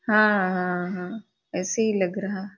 हाँ हाँ हाँ ऐसें ही लग रहा --